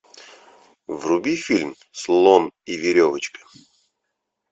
вруби фильм слон и веревочка